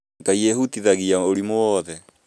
Ngai ehutagia ũrimũ woothe